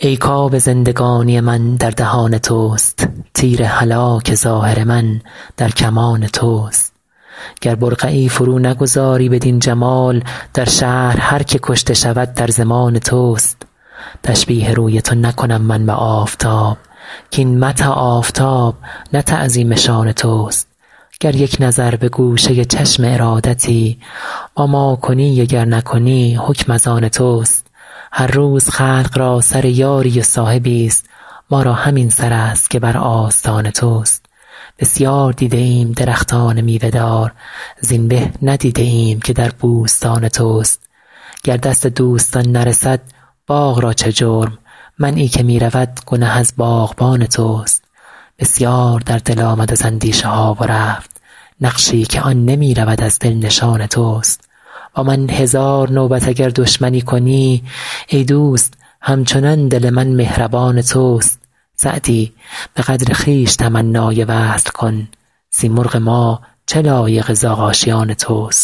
ای کآب زندگانی من در دهان توست تیر هلاک ظاهر من در کمان توست گر برقعی فرو نگذاری بدین جمال در شهر هر که کشته شود در ضمان توست تشبیه روی تو نکنم من به آفتاب کاین مدح آفتاب نه تعظیم شان توست گر یک نظر به گوشه چشم ارادتی با ما کنی و گر نکنی حکم از آن توست هر روز خلق را سر یاری و صاحبی ست ما را همین سر است که بر آستان توست بسیار دیده ایم درختان میوه دار زین به ندیده ایم که در بوستان توست گر دست دوستان نرسد باغ را چه جرم منعی که می رود گنه از باغبان توست بسیار در دل آمد از اندیشه ها و رفت نقشی که آن نمی رود از دل نشان توست با من هزار نوبت اگر دشمنی کنی ای دوست هم چنان دل من مهربان توست سعدی به قدر خویش تمنای وصل کن سیمرغ ما چه لایق زاغ آشیان توست